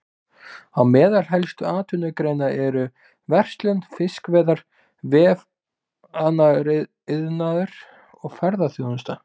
Á meðal helstu atvinnugreina eru verslun, fiskveiðar, vefnaðariðnaður og ferðaþjónusta.